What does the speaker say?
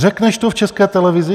Řekneš to v České televizi?